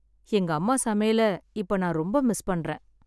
எங்க அம்மா சமையல் ரொம்ப நான் இப்ப மிஸ் பண்றேன்.